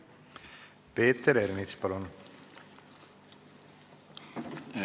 Peeter Ernits, palun!